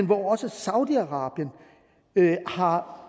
hvor også saudi arabien har